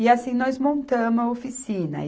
E assim, nós montamos a oficina.